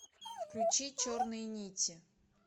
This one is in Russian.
включи черные нити